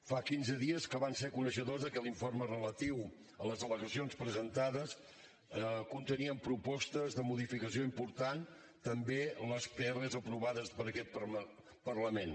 fa quinze dies que van ser coneixedors que l’informe relatiu a les al·legacions presentades contenien propostes de modificació importants també les pr aprovades per aquest parlament